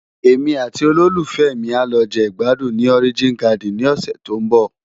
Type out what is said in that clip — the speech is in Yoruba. Émi àti ólólúfèmi á lò je igbádún ni Òrijín Gádin ni òsè tó n bò